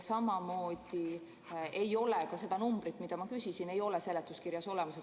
Samamoodi ei ole ka seda numbrit, mida ma küsisin, seletuskirjas olemas.